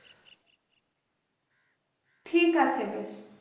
ঠিক আছে বেশ